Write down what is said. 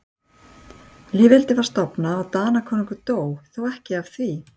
Lýðveldið var stofnað og Danakonungur dó, þó ekki af því.